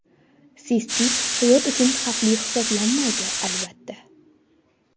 Sistit hayot uchun xavfli hisoblanmaydi, albatta.